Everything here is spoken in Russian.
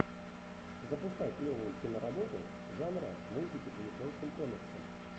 запускай клевую киноработу жанра мультики по японским комиксам